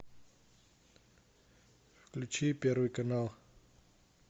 включи первый канал